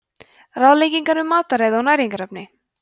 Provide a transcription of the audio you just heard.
ráðleggingar um mataræði og næringarefni